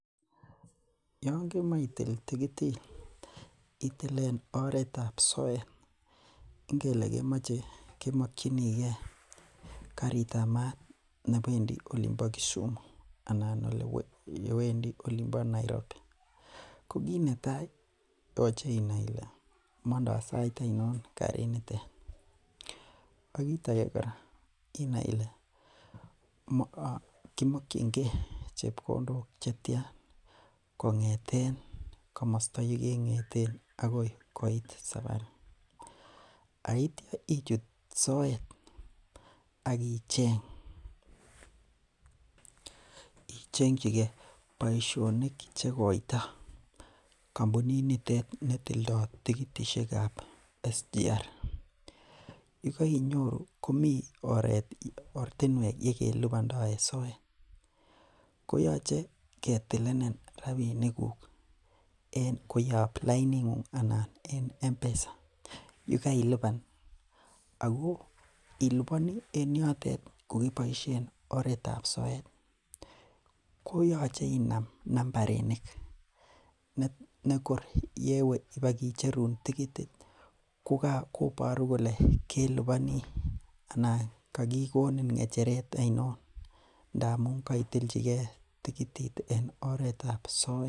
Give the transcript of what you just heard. Yoon kemae itil tikitit iboisien soet. Ingele kemache iwe olimbo Kisumu anan olonbo Nairobi. Ko kit netai ih koyache inai Ile Mando sait anon karit nitet , akit age kora inai Ile kimokoennge chebkondok chetiana kong'eten yeking'eten akoi saparit. Aitya ichut soet akicheng boisionik cheikoito kampunit nitet tildo tikitisiek. Yekainyoru komi oret yekelubando en soet , koyache ketilenin rabinik kuk koyab lainit neng'ung anan koyab mpesa. Yekailuban Ako ilubanii en yotet kokebaisien oretab soet ih , koyache inam nambarinik nekor kewe ibakicherun tikitit kobaru kole kailunan anan kakikonin ng'echeret ainon ngamun kaitilchike tikitit en oretab soet.